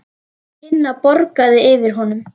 Tinna bograði yfir honum.